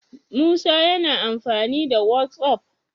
Musa yAna amfani da whatsapp?